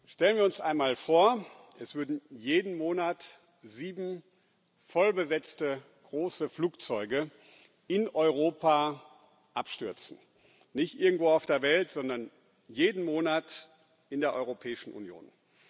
Stellen wir uns einmal vor, es würden jeden Monat sieben voll besetzte große Flugzeuge in Europa abstürzen nicht irgendwo auf der Welt, sondern jeden Monat in der Europäischen Union.